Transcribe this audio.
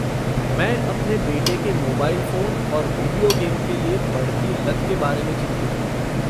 मैं अपने बेटे के मोबाइल फ़ोन और विडियो गेम के लिए बढ़ती लत के बारे में चिंतित हूँ।